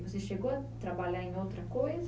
E você chegou a trabalhar em outra coisa?